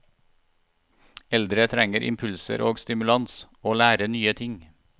Eldre trenger impulser og stimulans, å lære nye ting.